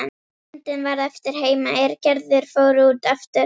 Myndin varð eftir heima er Gerður fór út aftur.